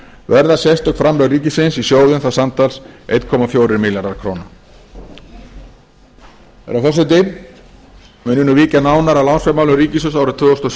verða sérstök framlög ríkisins í sjóðinn þá samtals einni fjórir milljarðar króna herra forseti mun ég nú víkja nánar að lánsfjármálum ríkissjóðs árið tvö þúsund og